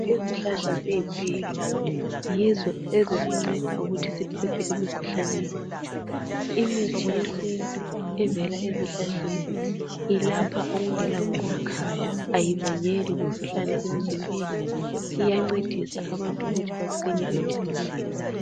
Izihlahla ziyimpilo yizo ezisinceda ukuthi siphephe emikhuhlaneni. Imithi yesintu evela ezihlahleni ilapha okungela bungozi ayibangeli mkhuhlane emzimbeni iyancedisa abantu ukuthi baqine emzimbeni.